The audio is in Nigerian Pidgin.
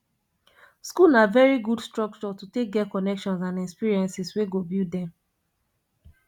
school na very good structure to take get connections and experiences wey go build dem